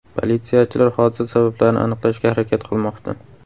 Politsiyachilar hodisa sabablarini aniqlashga harakat qilmoqda.